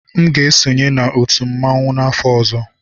M ga-esonye na otu mmanwụ n'afọ ọzọ.